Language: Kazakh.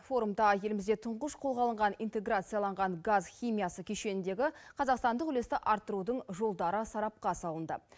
форумда елімізде тұңғыш қолға алынған интеграцияланған газ химиясы кешеніндегі қазақстандық үлесті арттырудың жолдары сарапқа салынды